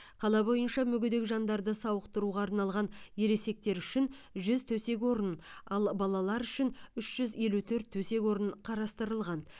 қала бойынша мүгедек жандарды сауықтыруға арналған ересектер үшін жүз төсек орын ал балалар үшін үш жүз елу төрт төсек орын қарастырылған